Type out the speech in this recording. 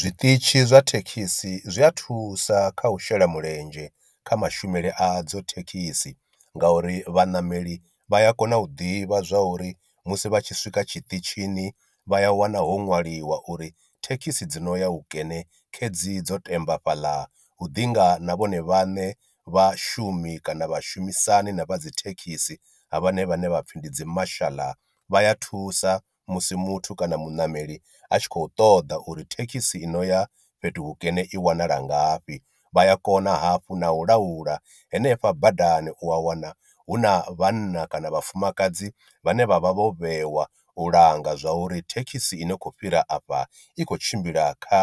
Zwiṱitshi zwa thekhisi zwi a thusa kha u shela mulenzhe kha mashumele a dzo thekhisi, nga uri vhanameli vha ya kona u ḓivha zwa uri musi vha tshi swika tshiṱitshini vha ya wana ho ṅwaliwa uri thekhisi dzi no ya hu kene khedzi dzo temba fhaḽa hu ḓi ngana vhone vhaṋe vhashumi kana vhashumisani na vha dzi thekhisi ha vhone vhaṋe vhapfhi ndi dzi mashaḽa vha ya thusa musi muthu kana muṋameli a tshi khou ṱoḓa uri thekhisi i no ya fhethu hukene i wanala ngafhi, vhaya kona hafhu na u laula hanefha badani u a wana hu na vhanna kana vhafumakadzi vhane vha vha vho vhewa u langa zwa uri thekhisi ine khou fhira afha i khou tshimbila kha